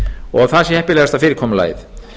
og það sé heppilegasta fyrirkomulagið